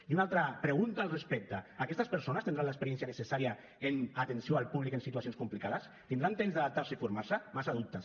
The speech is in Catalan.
i una altra pregunta al respecte aquestes persones tindran l’experiència necessària en atenció al públic en situacions complicades tindran temps d’adaptar se i formar se massa dubtes